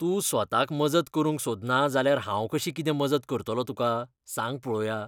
तूं स्वताक मजत करूंक सोदना जाल्यार हांव कशी कितें मजत करतलों तुका, सांग पळोवया?